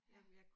Ja